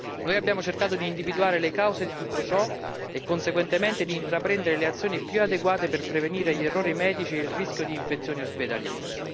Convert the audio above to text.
Noi abbiamo cercato di individuare le cause di tutto ciò e, conseguentemente, di intraprendere le azioni più adeguate per prevenire gli errori medici e il rischio di infezioni ospedaliere.